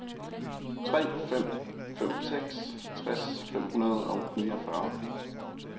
tre fem fem seks tres fem hundrede og niogfyrre